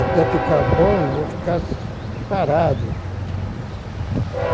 Até ficar bom, vou ficar parado.